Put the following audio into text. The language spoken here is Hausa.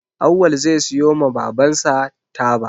Awwal zai siyo ma baban sa taba